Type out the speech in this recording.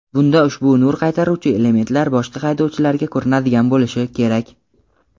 Bunda ushbu nur qaytaruvchi elementlar boshqa haydovchilarga ko‘rinadigan bo‘lishi kerak.